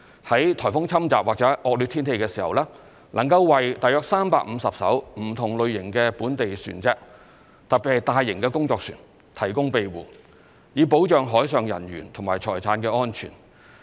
在颱風侵襲或惡劣天氣時，能夠為約350艘不同類型的本地船隻——特別是大型工作船——提供庇護，以保障海上人員及財產安全。